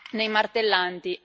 nei martellanti